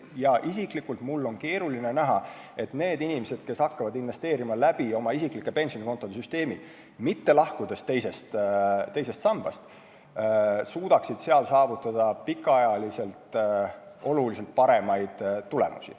Mul isiklikult on keeruline näha, et need inimesed, kes hakkavad investeerima oma isikliku pensionikonto süsteemi abil ja lahkuvad teisest sambast, suudaksid saavutada pikaajaliselt paremaid tulemusi.